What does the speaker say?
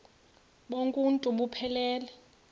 bonk uuntu buphelele